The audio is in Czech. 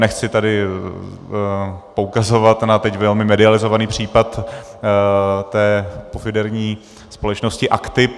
Nechci tady poukazovat na teď velmi medializovaný případ té pofidérní společnosti Aktip.